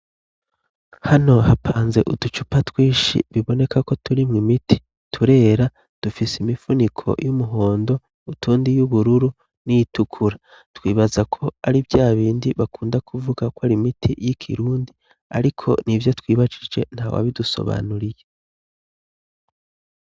Hano hapanze uducupa twishi biboneka ko turimwo imiti. Turera, dufise imifuniko y'umuhondo, utundi iy'ubururu n'iyitukura. Twibaza ko ari vyabindi bakunda kuvuga ko ari imiti y'ikirundi ariko nibyo twibajije, ntawabidusobanuriye.